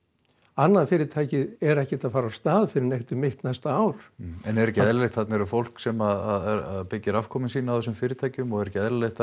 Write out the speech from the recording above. annað fyrirtækið er ekki að fara af stað fyrr en um mitt næsta ár en er ekki eðlilegt þarna er fólk sem er að byggja afkomu sína á þessum fyrirtækjum og er ekki eðlilegt